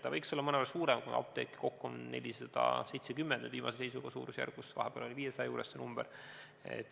Ta võiks olla mõnevõrra suurem, kuna apteeke kokku on 470 nüüd viimase seisuga, vahepeal oli 500 juures see number.